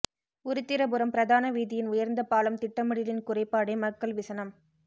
உருத்திரபுரம் பிரதான வீதியின் உயர்ந்த பாலம் திட்டமிடலின் குறைபாடே மக்கள் விசனம்